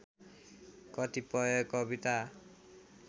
कतिपय कविता